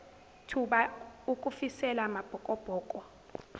thuba ukufisela amabhokobhoko